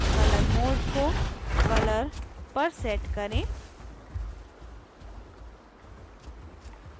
colour mode को colour पर set करें